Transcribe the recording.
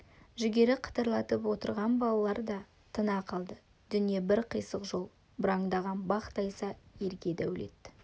жүгері қытырлатып отырған балалар да тына қалды дүние бір қисық жол бұраңдаған бақ тайса ерге дәулет